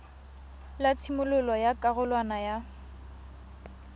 la tshimololo ya karolwana ya